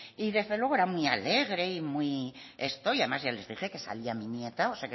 y desde luego era muy alegre y muy esto y además ya les dije que salía mi nieta o